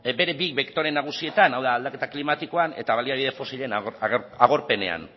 bere bi bektore nagusietan hau da aldaketa klimatikoan eta baliabide fosilen agorpenean